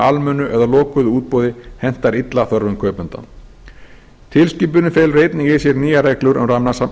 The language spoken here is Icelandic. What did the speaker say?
almennu eða lokuðu útboði henta illa þörfum kaupenda tilskipunin felur einnig í sér nýjar reglur um